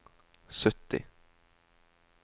sytti